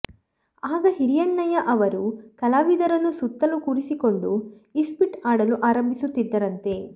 ಆಗ ಹಿರಣ್ಣಯ್ಯ ಅವರು ಕಲಾವಿದರನ್ನು ಸುತ್ತಲು ಕೂರಿಸಿಕೊಂಡು ಇಸ್ಪೀಟು ಆಡಲು ಆರಂಭಿಸುತ್ತಿದ್ದರಂತೆ